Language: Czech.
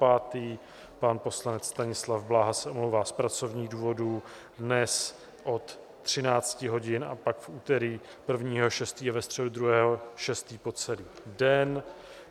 Pan poslanec Stanislav Blaha se omlouvá z pracovních důvodů dnes od 13 hodin a pak v úterý 1. 6. a ve středu 2. 6. po celý den.